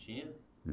Tinha?